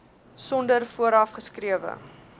sonder vooraf geskrewe